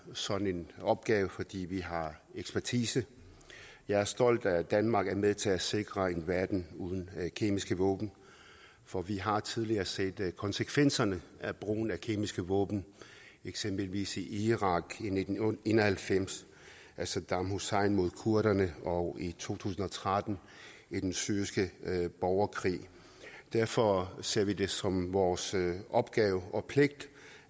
sådan opgave fordi vi har ekspertise jeg er stolt af at danmark er med til at sikre en verden uden kemiske våben for vi har tidligere set konsekvenserne af brugen af kemiske våben eksempelvis i irak i nitten en og halvfems da saddam hussein mod kurderne og i to tusind og tretten i den syriske borgerkrig derfor ser vi det som vores opgave og pligt